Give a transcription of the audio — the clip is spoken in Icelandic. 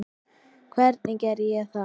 Hvernig gerði ég það?